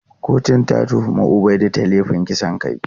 Kotun ta tuhumi Ubaidu da laifin kisan kai.